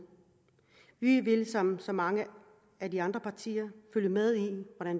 vi vil som så mange af de andre partier følge med